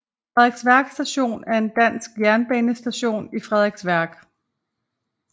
Frederiksværk Station er en dansk jernbanestation i Frederiksværk